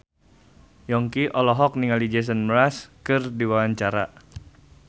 Yongki olohok ningali Jason Mraz keur diwawancara